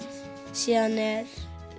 síðan er